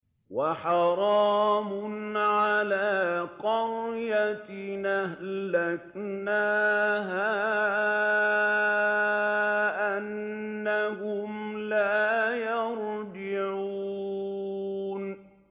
وَحَرَامٌ عَلَىٰ قَرْيَةٍ أَهْلَكْنَاهَا أَنَّهُمْ لَا يَرْجِعُونَ